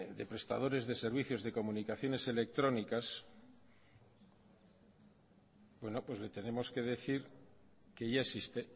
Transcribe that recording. de prestadores de servicios de comunicaciones electrónicas bueno pues le tenemos que decir que ya existe